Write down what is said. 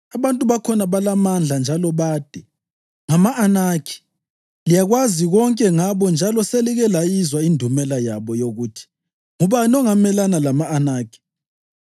Abantu bakhona balamandla njalo bade, ngama-Anakhi. Liyakwazi konke ngabo njalo selike layizwa indumela yabo yokuthi: ‘Ngubani ongamelana lama-Anakhi?’